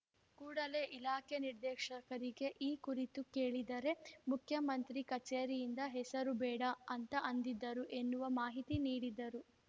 ಕೂಡಲೇ ಇಲಾಖೆ ನಿರ್ದೇಶಕರಿಗೆ ಈ ಕುರಿತು ಕೇಳಿದರೆ ಮುಖ್ಯಮಂತ್ರಿ ಕಚೇರಿಯಿಂದ ಹೆಸರು ಬೇಡ ಅಂತ ಅಂದಿದ್ದರು ಎನ್ನುವ ಮಾಹಿತಿ ನೀಡಿದರು